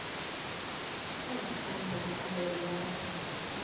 ஹம் அந்த~அந்த ஒரு air அ சொல்றேன்